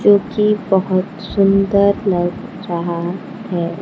जोकि बहोत सुंदर लग रहा है।